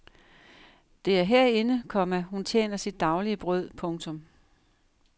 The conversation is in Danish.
Det er herinde, komma hun tjener til sit daglige brød. punktum